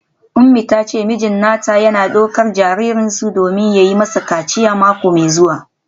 Umi ta ce mijin nata yana daukar jaririnsu domin yi masa kaciya mako mai zuwa.